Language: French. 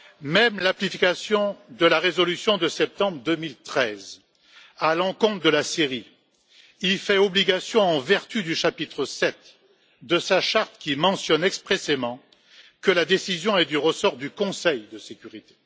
Même la résolution de septembre 2013 à l'encontre de la Syrie y fait obligation en vertu du chapitre VII de sa charte, qui mentionne expressément que la décision est du ressort du Conseil de sécurité.